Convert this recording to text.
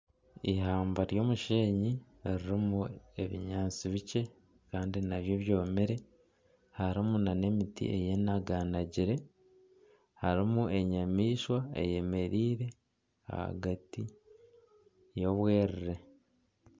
Ihamba ry'omushenyi ririmu ebinyaatsi bikye kandi nabyo byomire. Harimu nana emiti eyenaganagire harimu enyamaishwa eyemereire ahagati y'obwerere.